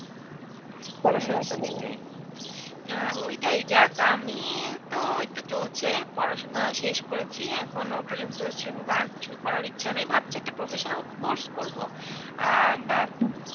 হ্যাঁ সেটাই আহ ওইটাই যাক আমি তো এইতো চলছে পড়াশোনা শেষ করেছি এখনো পর্যন্ত সেভাবে আর কিছু করার ইচ্ছা নেই ভাবছি একটা professional course করব আহ বা।